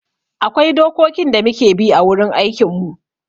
Akwai dokokin da muke bi a wurin aikin mu